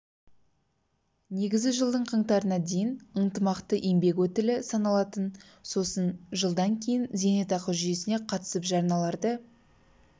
негізі жылдың қаңтарына дейін ынтымақты еңбек өтілі саналатын болып сосын жылдан кейін зейнетақы жүйесіне қатысып жарналарды